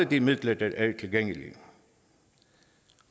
de midler der er tilgængelige